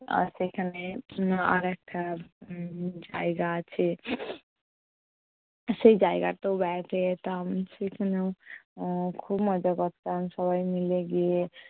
আর সেখানে উম আর একটা জায়গা আছে, সেই জায়গাটাতেও বেড়াতে যেতাম। সেখানেও উম খুব মজা করতাম সবাই মিলে গিয়ে।